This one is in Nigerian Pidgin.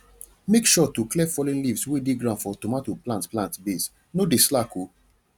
make sure to clear fallen leaves wey dey ground for tomato plant plant base no dey slack o